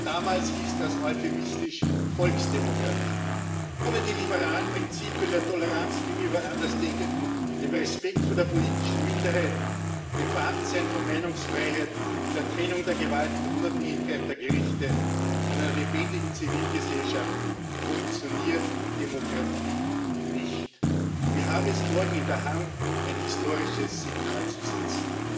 Damals hieß das euphemistisch Volksdemokratie. Ohne die liberalen Prinzipien der Toleranz gegenüber Andersdenkenden, des Respekts vor der politischen Minderheit, des Vorhandenseins von Meinungsfreiheit, der Trennung der Gewalten, der Unabhängigkeit der Gerichte und einer lebendigen Zivilgesellschaft funktioniert Demokratie nicht. Wir haben es morgen in der Hand, ein historisches Signal zu setzen.